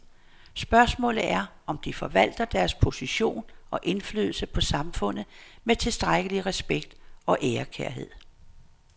Spørgsmålet er, om de forvalter deres position og indflydelse på samfundet med tilstrækkelig respekt og ærekærhed.